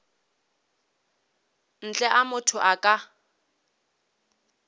ntle a motho a ka